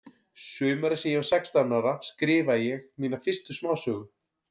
Sumarið sem ég var sextán ára skrifaði ég mína fyrstu smásögu.